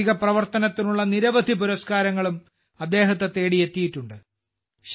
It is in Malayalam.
സാമൂഹിക പ്രവർത്തനത്തിനുള്ള നിരവധി പുരസ്കാരങ്ങളും അദ്ദേഹത്തെ തേടിയെത്തിയിട്ടുണ്ട്